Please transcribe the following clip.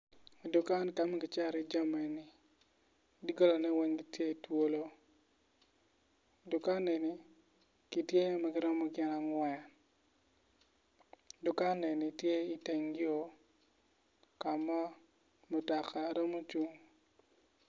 Dukan kama kicato iye jami dogolane weng gitye twolo dukan eni gitye ma girom gin angwen dukan eni tye itegn yor ka ma mutoka romo cung